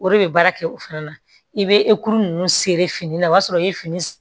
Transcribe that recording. O de bɛ baara kɛ o fana na i bɛ ninnu seri fini na o y'a sɔrɔ i ye fini